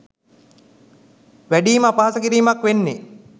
වැඩිම අපහාස කිරීමක් වෙන්නේ